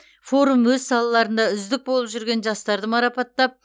форум өз салаларында үздік болып жүрген жастарды марапаттап